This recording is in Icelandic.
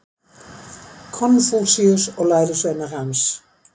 Konfúsíus og lærisveinar hans.